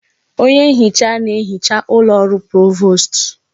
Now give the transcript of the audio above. Onye nhicha na ehicha ụlọ ọrụ Provost.